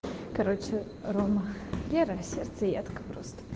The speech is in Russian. короче рома вера сердцеедка просто